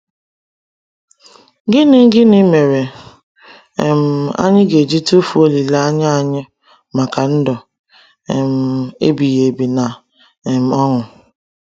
Gịnị Gịnị mere um anyị ga-eji tufuo olileanya anyị maka ndụ um ebighi ebi na um ọṅụ?